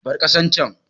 Bar ƙasan can!